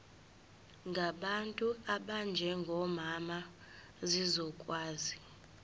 ngabantu abanjengomama zizokwazi